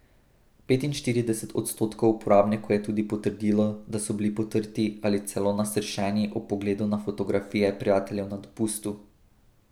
Petinštirideset odstotkov uporabnikov je tudi potrdilo, da so bili potrti ali celo nasršeni ob pogledu na fotografije prijateljev na dopustu.